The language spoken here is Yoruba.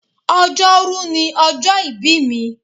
Ọjọ́rú ni ọjọ́ ìbí mi.